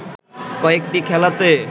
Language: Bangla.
কয়েকটি খেলাতে